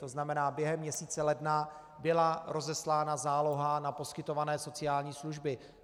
To znamená, během měsíce ledna byla rozeslána záloha na poskytované sociální služby.